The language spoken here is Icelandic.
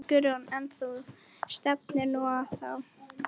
Guðrún: En þú stefnir nú á það?